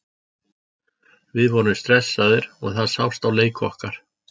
Við vorum stressaðir og það sást á leik okkar.